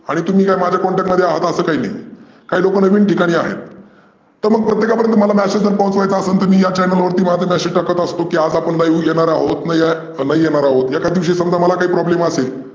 आणि तुम्ही माझ्या contact मध्ये आहात असं ही काही नाही. काही लोक नवीन ठिकाणी आहे. तर मला प्रत्येकापर्यंत message जर पोहचवायाचा असेल तर मी माझ्या channel वरती message टाकत असतो. की आज आपण घेणार आहोत, घेणार आहोत या विषायावर तुम्हाला काही problem असेल.